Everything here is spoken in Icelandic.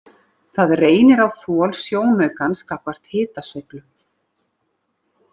Það reynir á þol sjónaukans gagnvart hitasveiflum.